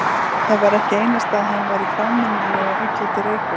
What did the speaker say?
Það var ekki einasta að hann væri frámunalega illa til reika.